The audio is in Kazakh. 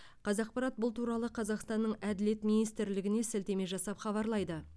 қазақпарат бұл туралы қазақстанның әділет министрлігіне сілтеме жасап хабарлайды